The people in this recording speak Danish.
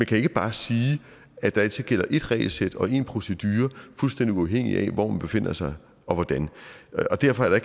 kan ikke bare sige at der altid gælder ét regelsæt og én procedure fuldstændig uafhængigt af hvor man befinder sig og hvordan og derfor er der